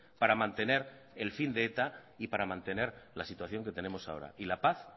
para mantener el fin de eta y para mantener la situación que tenemos ahora y la paz